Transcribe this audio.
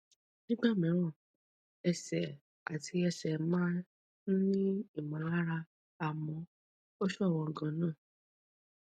nígbà mìíràn ẹsẹ àti ẹsẹ máa ń ní ìmọlára àmọ ó ṣọwọn ganan